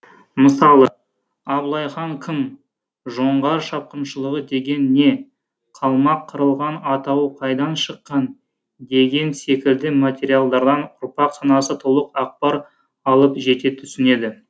мысалы абылай хан кім жоңғар шапқыншылығы деген не қалмақ қырылған атауы қайдан шыққан деген секілді материалдардан ұрпақ санасы толық ақпар алып жете түсінеді